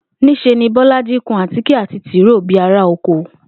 Ní s̩e ni Bó̩lájí kun àtikè àti tìróò bí ará oko